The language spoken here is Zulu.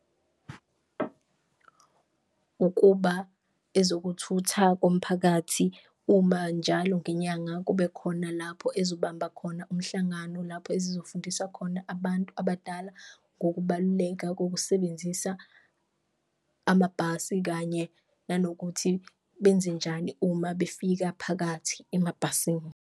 Ukuba ezokuthutha komphakathi uma njalo ngenyanga kube khona lapho ezobamba khona umhlangano, lapho ezizofundisa khona abantu abadala ngokubaluleka kokusebenzisa amabhasi. Kanye nanokuthi benzenjani uma befika phakathi emabhasini.